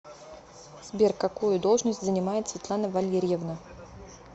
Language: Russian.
сбер какую должность занимает светлана валерьевна